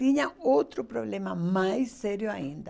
Tinha outro problema mais sério ainda.